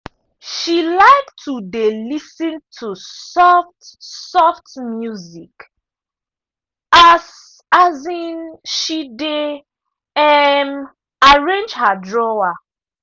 she like to dey lis ten to soft-soft music as um she dey um arrange her drawer.